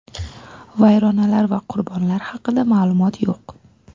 Vayronalar va qurbonlar haqida ma’lumot yo‘q.